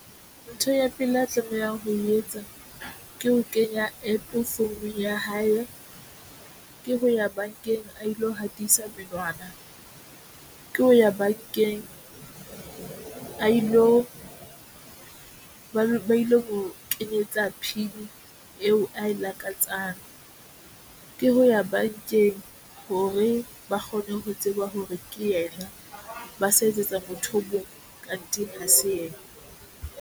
Ntho ya pele a tlamehang ho e etsa ke ho kenya APP founung ya hae ke ho ya bankeng a ilo hatisa menwana a ilo kenyetsa P_I_N eo ae lakatsang ke ho ya bankeng hore ba kgone ho tseba hore ke ena ba sa etsetsa motho card ha se ena mme.